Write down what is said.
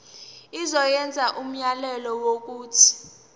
izokwenza umyalelo wokuthi